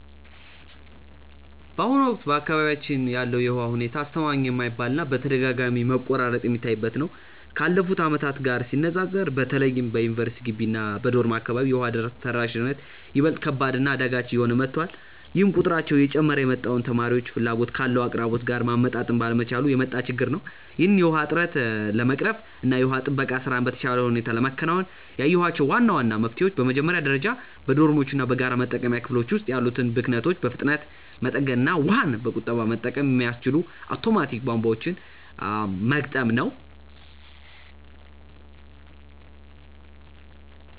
በአሁኑ ወቅት በአካባቢያችን ያለው የውሃ ሁኔታ አስተማማኝ የማይባል እና በተደጋጋሚ መቆራረጥ የሚታይበት ነው። ካለፉት ዓመታት ጋር ሲነፃፀር በተለይም በዩኒቨርሲቲ ግቢ እና በዶርም አካባቢ የውሃ ተደራሽነት ይበልጥ ከባድ እና አዳጋች እየሆነ መጥቷል፤ ይህም ቁጥራቸው እየጨመረ የመጣውን ተማሪዎች ፍላጎት ካለው አቅርቦት ጋር ማመጣጠን ባለመቻሉ የመጣ ችግር ነው። ይህንን የውሃ እጥረት ለመቅረፍ እና የውሃ ጥበቃ ስራን በተሻለ ሁኔታ ለማከናወን ያየኋቸው ዋና ዋና መፍትሄዎች በመጀመሪያ ደረጃ በዶርሞች እና በጋራ መጠቀሚያ ክፍሎች ውስጥ ያሉትን ብክነቶች በፍጥነት መጠገን እና ውሃን በቁጠባ መጠቀም የሚያስችሉ አውቶማቲክ ቧንቧዎችን መግጠም ነው።